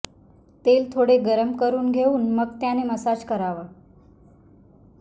तेल थोडे गरम करून घेऊन मग त्याने मसाज करावा